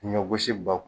Ɲɔ gosi bakuru